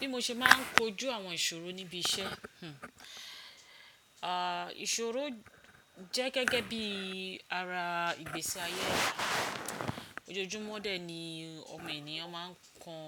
Bí mo ṣe máà ń kojú àwọn ìṣòro níbi iṣẹ́, hmmm à ìṣòro jẹ́ gẹ́gẹ́ bí ara ìgbésí ayé ẹda. Ojoojúmọ́ dẹ̀ ni ọmọ ènìyàn máa ń kan